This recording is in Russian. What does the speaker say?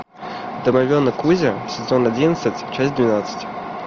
домовенок кузя сезон одиннадцать часть двенадцать